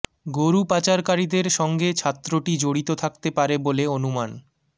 গরু পাচারকারীদের সঙ্গে ছাত্রটি জড়িত থাকতে পারে বলে অনুমান